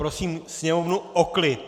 Prosím sněmovnu o klid!